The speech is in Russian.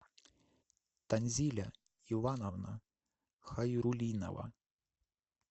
танзиля ивановна хайрулинова